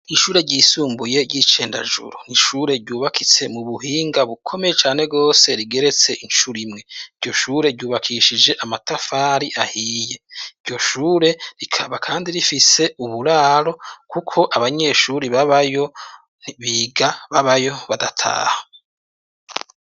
Ishure ryisumbuye ry'i Cendajuru, n'ishure ryubakitse mu buhinga bukomeye cane gose rigeretse incuro imwe, iryo shure ryubakishije amatafari ahiye, iryo shure rikaba kandi rifise uburaro kuko abanyeshure babayo, biga babayo badataha.